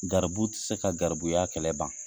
Garibu ti se ka garibuya kɛlɛ ban.